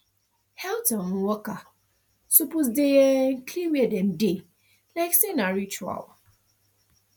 health um worker suppose dey um clean where dem dey like say na ritual